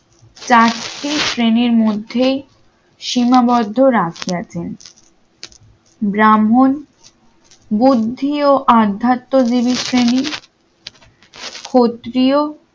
চারটি শ্রেণীর মধ্যেই সীমাবদ্ধ রাজি আছেন ব্রাহ্মণ বুদ্ধি ও আধ্যাত্ম্য জীবীশ শ্রেণি ক্ষত্রিয়